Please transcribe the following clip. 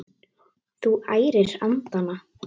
Þú ærir andana!